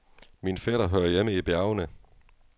Min fætter hører hjemme i bjergene.